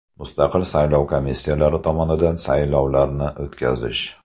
Mustaqil saylov komissiyalari tomonidan saylovlarni o‘tkazish.